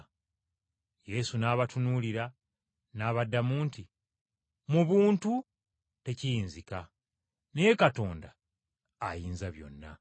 Yesu n’abatunuulira enkaliriza n’abagamba nti, “Eri abantu tekiyinzika. Naye Katonda, ayinza byonna.”